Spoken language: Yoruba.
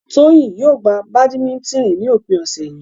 Toyin yóò gbá badimitini ní òpin ọ̀sẹ̀ yìí.